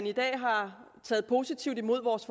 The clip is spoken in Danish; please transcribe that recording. i dag har taget positivt imod vores